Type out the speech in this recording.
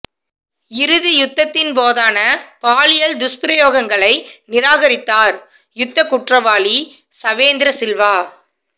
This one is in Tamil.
இறுதி யுத்தத்தின் போதான பாலியல் துஸ்பிரயோகங்களை நிரகாரித்தார் யுத்தக் குற்றவாளி சவேந்திரசில்வா